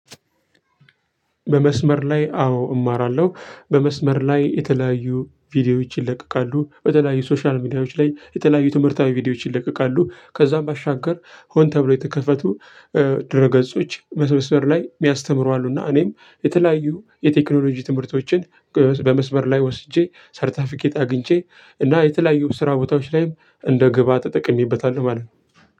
በመስመር ላይ አዎ እማራለሁ። በመስመር ላይ የተለያዩ ቪዲዮዎች ይለቀቃሉ። በተለያዩ ሶሻል ሚዲያዎች ላይ የተለያዩ ትምህርታዊ ቪዲዮዎች ይለቀቃሉ። ከዛም ባሻገር ሆን ተብሎ የተከፈቱ ድረ ገጾች በመስመር ላይ የሚያስተምሩ አሉ። እና እኔም የተለያዩ የቴክኖሎጂ ትምህርቶችን በመስበር ላይ ወስጄ፣ ሰርታፊኬት አግኝቼ እና የተለያዩ ስራ ቦታዎች ላይም እንደ ግብአት ተጠቅሜበታለሁ ማለት ነው።